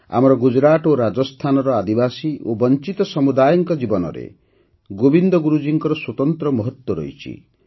ଆମର ଗୁଜରାଟ ଓ ରାଜସ୍ଥାନର ଆଦିବାସୀ ଓ ବଞ୍ଚିତ ସମୁଦାୟଙ୍କ ଜୀବନରେ ଗୋବିନ୍ଦ ଗୁରୁଜୀଙ୍କ ସ୍ୱତନ୍ତ୍ର ମହତ୍ତ୍ୱ ରହିଛି